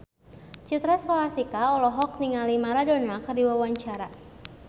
Citra Scholastika olohok ningali Maradona keur diwawancara